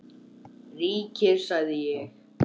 Ríkir, sagði ég.